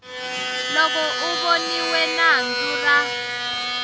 loko a voniwe nandzu ra